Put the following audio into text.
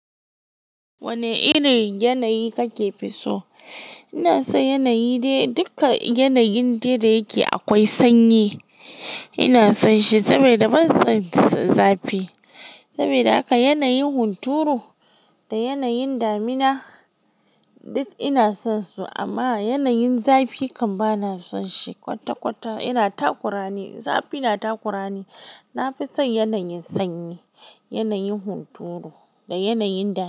Wane irin yanayi kake so? Ina son yanayi dai duka yanayin da yake akwai sanyi. Ina son shi saboda ban son zafi. Saboda haka yanayin hunturu da yanayin damina duk ina son su amma yanayin zafi kam bana son shi kwata-kwata. Ina takurane, zafi yana takurane. Na fi son yanayin sanyi, yanayin hunturu da yanayin damina.